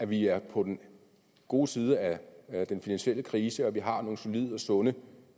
vi er på den gode side af den finansielle krise og vi har nogle solide og sunde